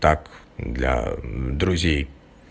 так для друзей